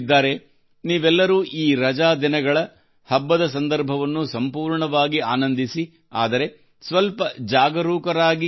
ನೀವೆಲ್ಲರೂ ಈ ರಜಾ ದಿನಗಳ ಹಬ್ಬದ ಸಂದರ್ಭವನ್ನು ಸಂಪೂರ್ಣವಾಗಿ ಆನಂದಿಸಿ ಆದರೆ ಸ್ವಲ್ಪ ಜಾಗರೂಕರಾಗಿ ಕೂಡಾ ಇರಿ